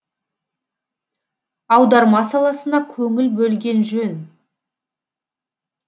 аударма саласына көңіл бөлген жөн